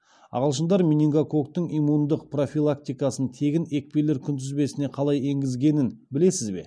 ағылшындар менингококктың иммундық профилактикасын тегін екпелер күнтізбесіне қалай енгізгенін білесіз бе